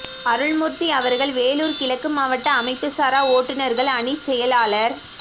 அருள்மூர்த்தி அவர்கள் வேலூர் கிழக்கு மாவட்ட அமைப்பு சாரா ஓட்டுநர்கள் அணிச் செயலாளர்